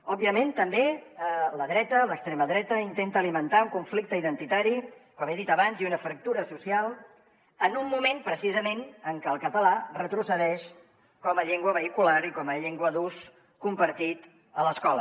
òbviament també la dreta l’extrema dreta intenta alimentar un conflicte identitari com he dit abans i una fractura social en un moment precisament en què el català retrocedeix com a llengua vehicular i com a llengua d’ús compartit a l’escola